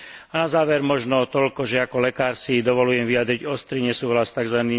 A na záver možno toľko, že ako lekár si dovoľujem vyjadriť ostrý nesúhlas s tzv.